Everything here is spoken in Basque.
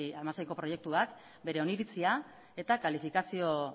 hamaseiko proiektuak bere oniritzia eta kalifikazio